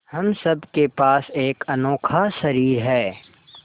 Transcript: हम सब के पास एक अनोखा शरीर है